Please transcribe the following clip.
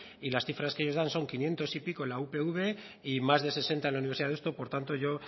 y las cifras que ellos dan son quinientos y pico en la upv y más de sesenta en la universidad de deusto por tanto yo